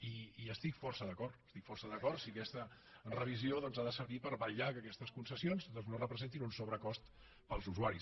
i hi estic força d’acord hi estic força d’acord si aquesta revisió ha de servir per vetllar perquè aquestes concessions no representin un sobrecost per als usuaris